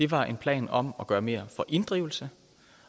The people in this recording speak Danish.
var en plan om at gøre mere for inddrivelsen